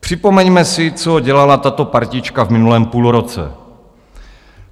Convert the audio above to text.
Připomeňme si, co dělala tato partička v minulém půlroce.